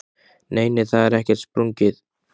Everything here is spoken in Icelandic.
Nei, nei, það er ekkert sprungið.